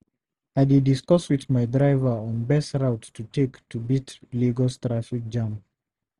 I dey discuss with my driver on best route to take to beat Lagos traffic jam.